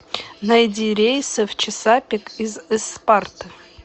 найди рейсы в чесапик из ыспарты